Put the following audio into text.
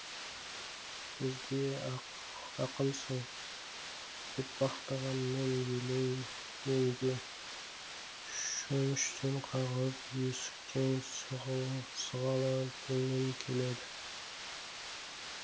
көзге ақынсың деп мақтағанмен елемеуге шөміштен қағып есіктен сығалатумен келеді